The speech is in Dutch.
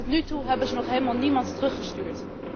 Want tot nu toe hebben ze nog helemaal niemand teruggestuurd.